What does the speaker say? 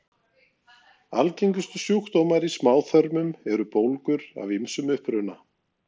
Algengustu sjúkdómar í smáþörmum eru bólgur af ýmsum uppruna.